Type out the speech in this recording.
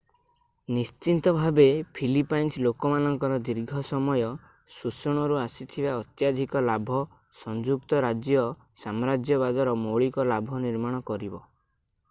ନିଶ୍ଚିତ ଭାବେ ଫିଲିପାଇନ୍ସ ଲୋକମାନଙ୍କର ଦୀର୍ଘ ସମୟ ଶୋଷଣରୁ ଆସିଥିବା ଅତ୍ୟଧିକ ଲାଭ ସଂଯୁକ୍ତ ରାଜ୍ୟ ସାମ୍ରାଜ୍ୟବାଦର ମୌଳିକ ଲାଭ ନିର୍ମାଣ କରିବ